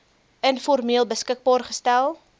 informeel beskikbaar gestel